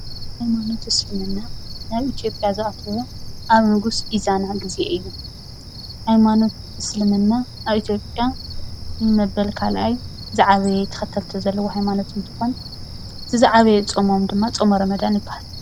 ሃይማኖት እስልምና ናብ ኢትዮጵያ ዝኣተወ ኣብ ንጉስ ኢዛና ግዜ እዩ፡፡ ሃይማኖት እስልምና ኣብ ኢትዮጵያ ንመበል ካልኣይ ዝዓበየ ተከተልቲ ዘለዎ ሃይማኖት እንትኮን እቲ ዝዓበየ ፆምም ድማ ፆመ ሮመዳን ይበሃል፡፡